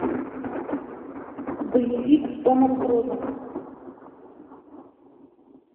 боевик с томом крузом